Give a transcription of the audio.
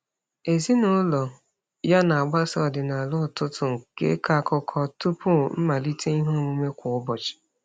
Ezinaụlọ ya na-agbaso ọdịnala ụtụtụ nke ịkọ akụkọ tụpụ mmalite iheomume kwa ụbọchị.